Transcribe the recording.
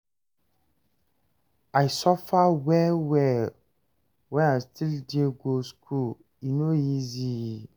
I suffer well-well wen I still dey go skool, e no easy.